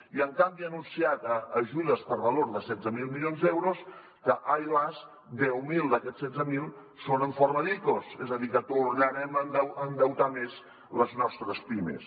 i en canvi ha anunciat ajudes per valor de setze mil milions d’euros que ai las deu mil d’aquests setze mil són en forma d’icos és a dir que tornarem a endeutar més les nostres pimes